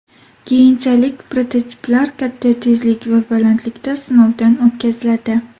Keyinchalik prototiplar katta tezlik va balandlikda sinovdan o‘tkaziladi.